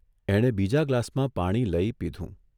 એણે બીજા ગ્લાસમાં પાણી લઇ પીધું.